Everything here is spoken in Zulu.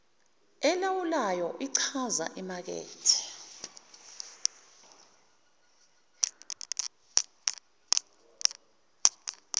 elawulwayo ichaza imakethe